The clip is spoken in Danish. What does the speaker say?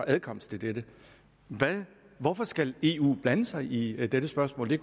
adkomst til dette hvorfor skal eu blande sig i dette spørgsmål det